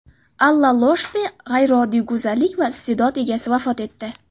Alla Ioshpe – g‘ayrioddiy go‘zallik va iste’dod egasi vafot etdi.